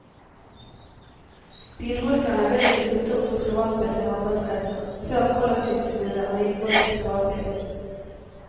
Bilbrukerne vil ikke slutte å bruke privatbil til arbeidsreiser, før kollektivtilbudet er like godt som privatbilen.